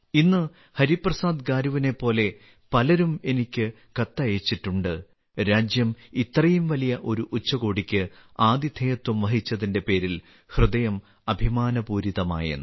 ഇന്ന് ഹരിപ്രസാദ് ഗാരുവിനെപ്പോലെ പലരും എനിക്ക് കത്തയച്ചിട്ടുണ്ട് രാജ്യം ഇത്രയും വലിയ ഒരു ഉച്ചകോടിക്ക് ആതിഥേയത്വം വഹിച്ചതിന്റെ പേരിൽ ഹൃദയം അഭിമാനപൂരിതമായെന്ന്